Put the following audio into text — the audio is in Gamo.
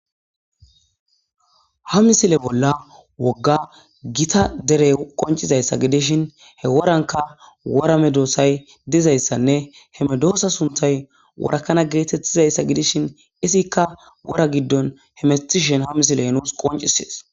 ha misile bolla wogga gita derey qoncizayssa gidishin he woranka wora medoosay dizayssanne he medoosa suntay worakana geetettizayssa gidishin isikka wora giddon hemistishen ha misiley nuus qoncisees